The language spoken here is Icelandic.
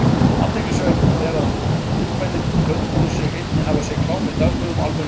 Athyglisvert er að ungmennin töldu sig einnig hafa séð klám í dagblöðum og almennum tímaritum.